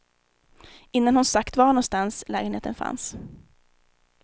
Innan hon sagt var någonstans lägenheten fanns.